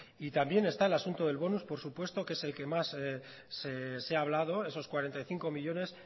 y también está el asunto del bonus por supuesto que es el que más se ha hablado esos cuarenta y cinco millónes